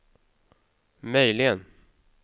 möjligen